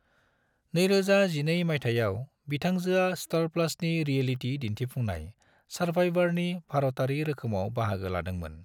2012 माइथायाव, बिथांजोआ स्टार प्लसनि रियलिटी दिन्थिफुंनाय सर्वाइवरनि भारतारि रोखोमाव बाहागो लादोंमोन।